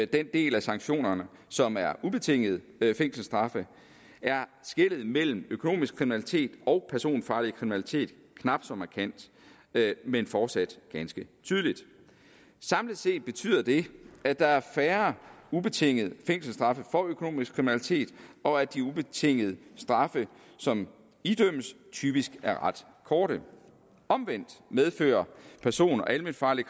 den del af sanktionerne som er ubetingede fængselsstraffe er skellet mellem økonomisk kriminalitet og personfarlig kriminalitet knap så markant men fortsat ganske tydeligt samlet set betyder det at der er færre ubetingede fængselsstraffe for økonomisk kriminalitet og at de ubetingede straffe som idømmes typisk er ret korte omvendt medfører person og alment farlig